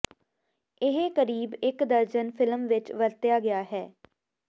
ਇਹ ਕਰੀਬ ਇੱਕ ਦਰਜਨ ਫਿਲਮ ਵਿੱਚ ਵਰਤਿਆ ਗਿਆ ਹੈ